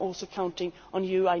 I am also counting on you.